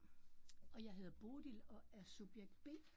Og jeg hedder Bodil og er subjekt B